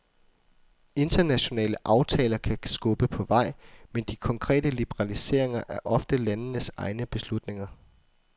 Internationale aftaler kan skubbe på vej, men de konkrete liberaliseringer er oftest landenes egne beslutninger.